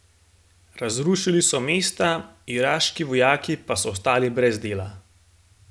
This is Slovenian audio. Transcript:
Razrušili so mesta, iraški vojaki pa so ostali brez dela.